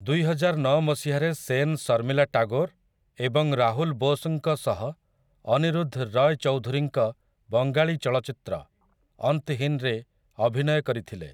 ଦୁଇହଜାରନଅ ମସିହାରେ ସେନ୍ ଶର୍ମିଲା ଟେଗୋର୍ ଏବଂ ରାହୁଲ୍ ବୋଷ୍‌ଙ୍କ ସହ ଅନିରୁଦ୍ଧ୍ ରୟ୍ ଚୌଧୁରୀଙ୍କ ବଙ୍ଗାଳୀ ଚଳଚ୍ଚିତ୍ର 'ଅନ୍ତହିନ୍'ରେ ଅଭିନୟ କରିଥିଲେ ।